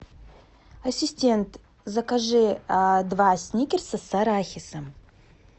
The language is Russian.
ассистент закажи два сникерса с арахисом